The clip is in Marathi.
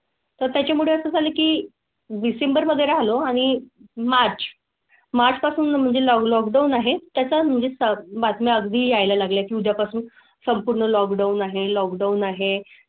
तर त्याच्या मुळे असं झालं की डिसेंबर मध्ये राहिलो आणि मार्च मार्च पासून म्हणजे लॉक लॉकडाउन आहे. त्याचा म्हणजे बातमी अगदी यायला लागल्या की उद्यापासून संपूर्ण लॉकडाउन आहे. लॉकडाउन आहे.